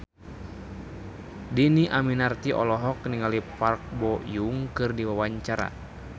Dhini Aminarti olohok ningali Park Bo Yung keur diwawancara